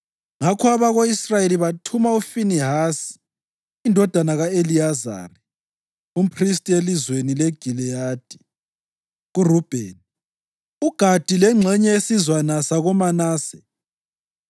Ngakho abako-Israyeli bathuma uFinehasi indodana ka-Eliyazari, umphristi elizweni leGiliyadi kuRubheni, uGadi lengxenye yesizwana sakoManase.